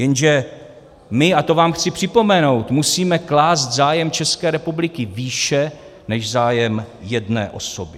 Jenže my, a to vám chci připomenout, musíme klást zájem České republiky výše než zájem jedné osoby.